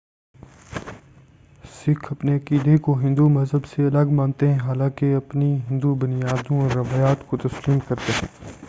سکھ اپنے عقیدے کو ہندو مذہب سے الگ مانتے ہیں حالانکہ اپنی ہندو بنیادوں اور روایات کو تسلیم کرتے ہیں